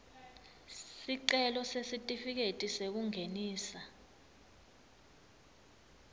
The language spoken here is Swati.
sicelo sesitifiketi sekungenisa